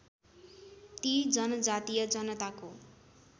ती जनजातीय जनताको